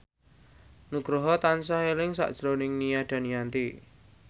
Nugroho tansah eling sakjroning Nia Daniati